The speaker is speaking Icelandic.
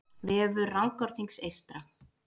Vefur Rangárþings eystra